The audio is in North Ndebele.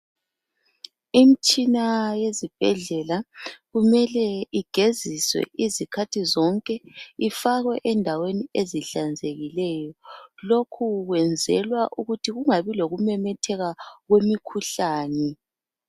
Imitshina eyezibhedlela kumele igeziswe izikhathi zonke ifakwe endaweni ezihlanzekileyo lokhu kwenzelwa ukuthi kungabi lokunemetheka kwemikhuhlane.